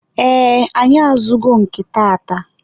ee, anyị azụgo nke taata.